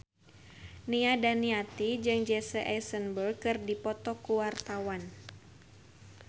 Nia Daniati jeung Jesse Eisenberg keur dipoto ku wartawan